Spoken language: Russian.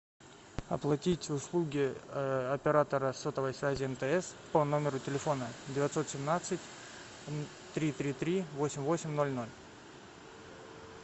оплатить услуги оператора сотовой связи мтс по номеру телефона девятьсот семнадцать три три три восемь восемь ноль ноль